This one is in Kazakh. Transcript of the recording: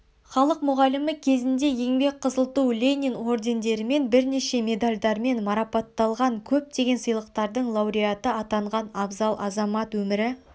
халық мұғалімі кезінде еңбек қызыл ту ленин ордендерімен бірнеше медальдармен марапатталған көптеген сыйлықтардың лауреаты атанған абзал азамат өмірі